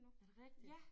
Er det rigtigt?